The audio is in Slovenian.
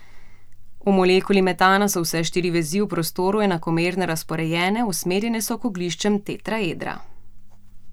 V molekuli metana so vse štiri vezi v prostoru enakomerno razporejene, usmerjene so k ogliščem tetraedra.